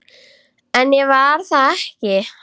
En ég var það ekki.